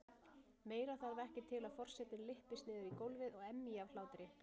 Meira þarf ekki til að forsetinn lyppist niður í gólfið og emji af hlátri.